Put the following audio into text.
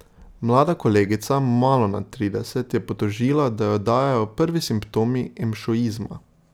Mlada kolegica, malo nad trideset, je potožila, da jo dajejo prvi simptomi emšoizma.